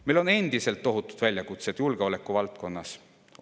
Meil on endiselt tohutud väljakutsed julgeolekuvaldkonnas.